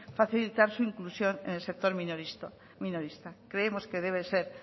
facilitar su inclusión en el sector minorista creemos que debe ser